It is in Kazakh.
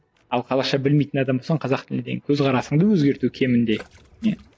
ал қазақша білмейтін адам болсаң қазақ тіліне деген көзқарасыңды өзгерту кемінде не